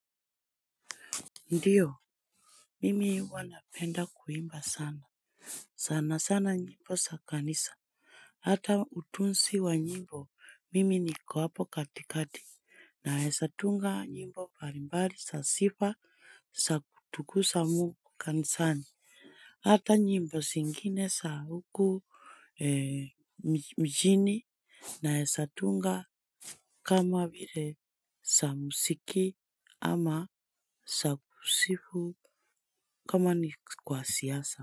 Ndio, mimi huwa napenda kuimba sana. Sanasana nyimbo sa kanisa, hata utunzi wa njimbo, mimi niko hapo katikati, naezatunga nyimbo mbalimbali, za sifa, za kutukuza Mungu kanisani, hata nyimbo zingine za huku mjini, naezatunga kama vile za muziki ama za kusifu. Kama ni kwa siasa.